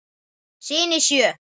Syni sjö.